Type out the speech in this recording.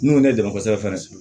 N'u ye ne dɛmɛ kosɛbɛ fɛnɛ